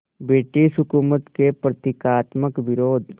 British हुकूमत के प्रतीकात्मक विरोध